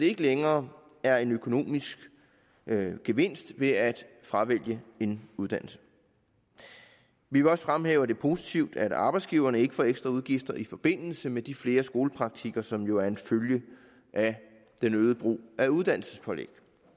ikke længere er en økonomisk gevinst ved at fravælge en uddannelse vi vil også fremhæve at det er positivt at arbejdsgiverne ikke får ekstra udgifter i forbindelse med de flere skolepraktikker som jo er en følge af den øgede brug af uddannelsespålæg